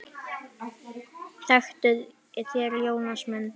Þektuð þér Jónas minn?